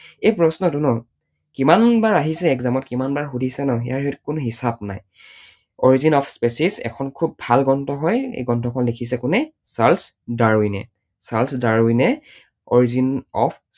এই প্ৰশ্নটো ন কিমান বাৰ আহিছে exam ত কিমান বাৰ সুধিছে ন ইয়াৰ সেইটো কোনো হিচাপ নাই। origin of species এখন খুব ভাল গ্ৰন্থ হয়, এই গ্ৰন্থখন লিখিছে কোনে? চাৰ্লছ ডাৰউইনে। চাৰ্লছ ডাৰউইনে origin of